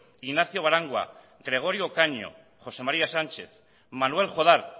ignacio barangua gregorio caño josé maría sánchez manuel jodar